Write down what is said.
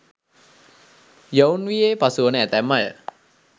යොවුන් වියේ පසුවන ඇතැම් අය